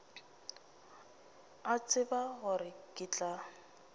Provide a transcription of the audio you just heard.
a tseba gore ke tla